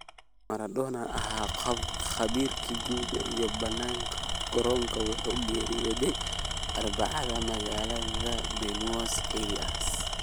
Maradona, oo ahaa qof khabiir gudaha iyo bannaanka garoonka, wuxuu geeriyooday Arbacadaas magaalada Buenos Aires.